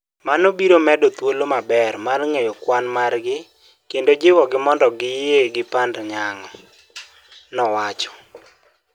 Mano biro bedo thuolo maber mar ng'eyo kwan margi kendo jiwogi mondo giyie gi pand nyango", nowacho